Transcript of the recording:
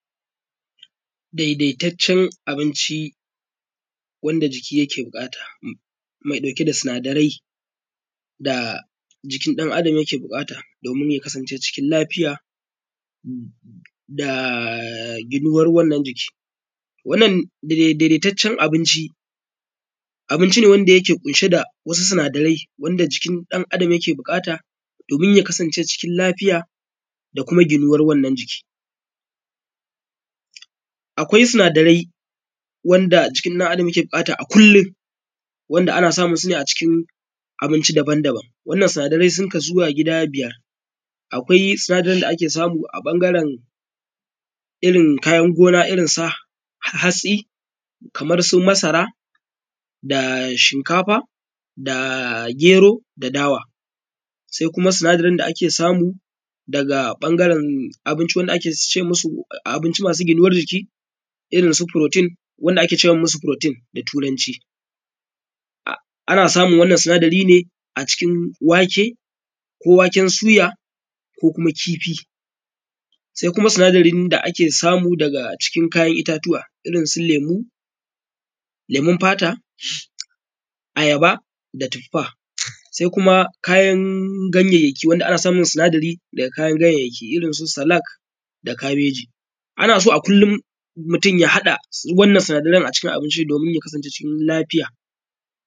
dai dai taccen abinci wanda jiki yake bukata mai dauke da sinadarai da jikin dan adam yake bukata domin ya kasance cikin koshin lafiya da ginuwar wannan jiki wannan daidai taccen abin abinci wanda dauke da wasu sina darai wanda jikin dan adam yake bukata domin ya kasan ce cikin lafiya da kuma ginuwar wannan jiki akwai sinadarai wanda jikin dan adam yake bukata a kullum wanda ana samun sune a cikin abinci daban daban wannan sinadarai sun kasu gida biyar akwai sinadarin da ake samu a bangaren irrin kayan gona irrin su hatsi kamar masara da shikafa da gero da dawa sai kuma sinadarin da ake samu daga bangaren abinci wanda ake ce musu abinci masu gina jiki irrin su furotin wanda ake ce musu furotin da turanci ana samun wannan sinadari ne a cikin wake wake ko waken suya ko kuma kifi sai kuma sinadarin da ake samu a cikin kayan itatuwa irrin su lemu lemun fata ayaba da tuffa sai kuma kayan gayyaki ana samun sinadari daga kayan gayayyaki irrin su salak da cabeji anaso a kullum mutun ya hada wannan sinadaran a cikin abinci domin ya kasance cikin lafiya